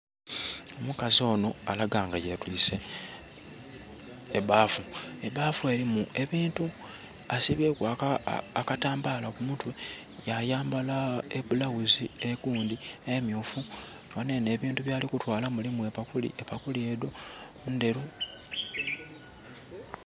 Omukazi ono alaga nga ye twiise ebbafu, ebbafu erimu ebintu. Asibye ku akatambala ku mutwe yayambala ebulaghuzi emyufu. Ghano eno ebintu byali kutwala milimu epakuli, epakuli edho ndheru.